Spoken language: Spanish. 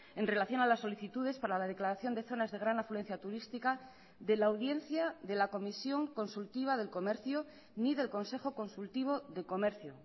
en relación a las solicitudes para la declaración de zonas de gran afluencia turística de la audiencia de la comisión consultiva del comercio ni del consejo consultivo de comercio